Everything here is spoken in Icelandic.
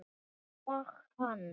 Og hann?